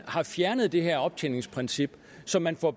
har fjernet det her optjeningsprincip så man får